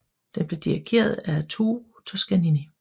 Den blev dirrigeret af Arturo Toscanini